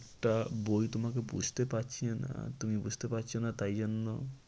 একটা বই তোমাকে বুঝতে পারছিলে না তুমি বুঝতে পারছো না তাই জন্য